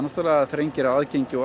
þrengir aðgengi og